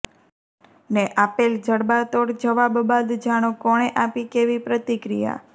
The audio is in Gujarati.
ને આપેલ જડબાતોડ જવાબ બાદ જાણો કોણે આપી કેવી પ્રતિક્રિયા